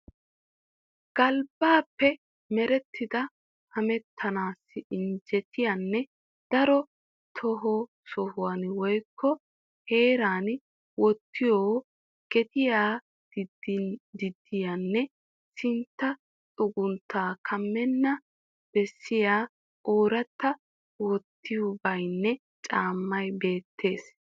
Galbbaappe merettida hamettanawu injjetiyanne daro too son woyikko heeran wottiyo gediya ginddiyanne sintta xugunttaa kammennan bessiya oorattaa wotettibeenna caammay beettes.